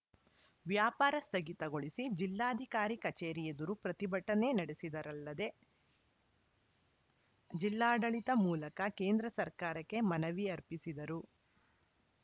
ವ್ಯಾಪಾರ ಸ್ಥಗಿತಗೊಳಿಸಿ ಜಿಲ್ಲಾಧಿಕಾರಿ ಕಚೇರಿ ಎದುರು ಪ್ರತಿಭಟನೆ ನಡೆಸಿದರಲ್ಲದೆ ಜಿಲ್ಲಾಡಳಿತ ಮೂಲಕ ಕೇಂದ್ರ ಸರ್ಕಾರಕ್ಕೆ ಮನವಿ ಅರ್ಪಿಸಿದರು